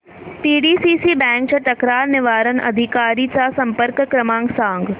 PDCC bank च्या तक्रार निवारण अधिकारी चा संपर्क क्रमांक सांग